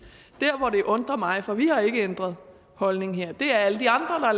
det der undrer mig for vi har ikke ændret holdning er alle de andre